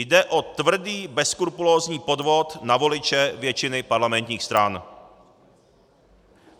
Jde o tvrdý, bezskrupulózní podvod na voliče většiny parlamentních stran.